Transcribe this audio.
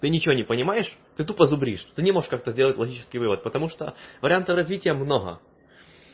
ты ничего не понимаешь ты тупо зубришь ты не можешь как-то сделать логический вывод потому что вариантов развития много